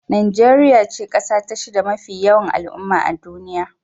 Najeriya ce kasa ta shida mafi yawan al'umma a duniya.